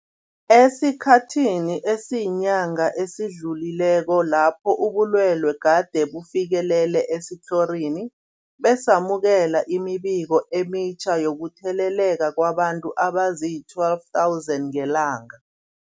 Esikhathini esiyinyanga esidlulileko lapho ubulwele gade bufikelele esitlhorini, besamukela imibiko emitjha yokutheleleka kwabantu abazii-12 000 ngelanga.